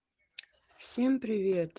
всем привет